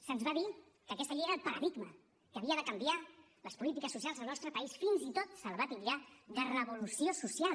se’ns va dir que aquesta llei era el paradigma que havia de canviar les polítiques socials al nostre país fins i tot se la va titllar de revolució social